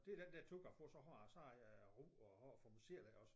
Det er den der tur jeg får så har så har jeg ro at have for mig selv iggås